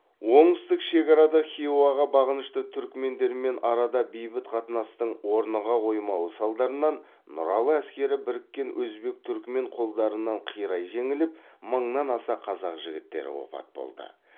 оңтүстік шекарада хиуаға бағынышты түрікмендермен арада бейбіт қатынастың орныға қоймауы салдарынан нұралы әскері біріккен өзбек түрікмен қолдарынан қирай жеңіліп мыңнан аса қазақ жігіттері опат болды